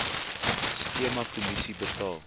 skema kommissie betaal